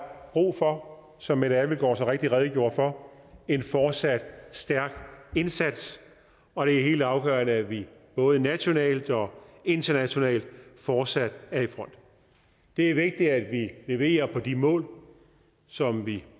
brug for som mette abildgaard så rigtigt redegjorde for en fortsat stærk indsats og det er helt afgørende at vi både nationalt og internationalt fortsat er i front det er vigtigt at vi leverer på de mål som vi